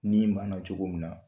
Ni bana cogo min na